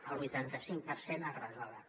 el vuitanta cinc per cent es resolen